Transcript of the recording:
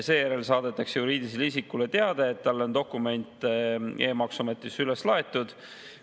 Seejärel saadetakse juriidilisele isikule teade, et talle on dokument e-maksuametis üles laetud.